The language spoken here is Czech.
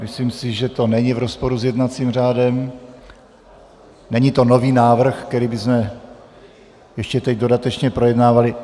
Myslím si, že to není v rozporu s jednacím řádem, není to nový návrh, který bychom ještě teď dodatečně projednávali.